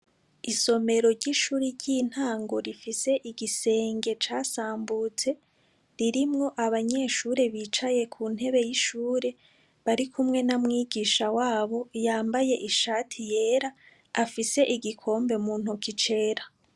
Isomero ry'ishuri ry'intango rifise igisenge casambutse, ririmwo abanyeshure bicaye ku ntebe y'ishure bari kumwe na mwigisha wabo yambaye ishati y'era, afise igikombe mu ntoki c'era.